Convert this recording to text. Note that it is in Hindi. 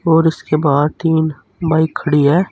और इसके बाहर तीन बाइक खड़ी हैं।